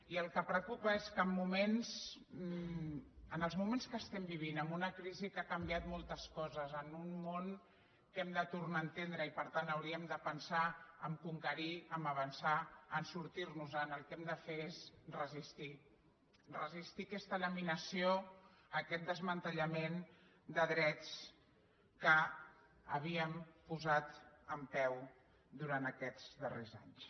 i el que preocupa és que en els moments que vivim amb una crisi que ha canviat moltes coses en un món que hem de tornar a entendre i per tant hauríem de pensar a conquerir a avançar a sortir nos en el que hem de fer és resistir resistir aquesta laminació aquest desmantellament de drets que havíem posat en peu durant aquests darrers anys